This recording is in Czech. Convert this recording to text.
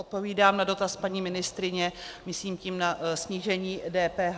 Odpovídám na dotaz paní ministryně, myslím tím na snížení DPH.